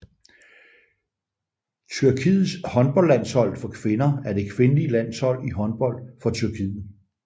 Tyrkiets håndboldlandshold for kvinder er det kvindelige landshold i håndbold for Tyrkiet